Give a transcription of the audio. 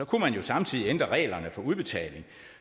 kunne man jo samtidig ændre reglerne for udbetaling